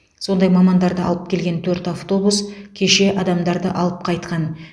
сондай мамандарды алып келген төрт автобус кеше адамдарды алып қайтқан